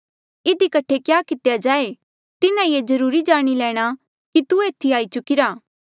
इधी कठे क्या कितेया जाए तिन्हा ये जरुर जाणी लैणा कि तू एथी आई चुकिरा